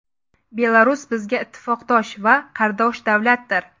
Belarus bizga ittifoqdosh va qardosh davlatdir.